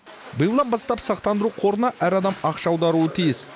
биылдан бастап сақтандыру қорына әр адам ақша аударуы тиіс